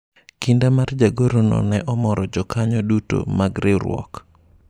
kinda mar jagoro no ne omoro jokanyo duto mag riwruok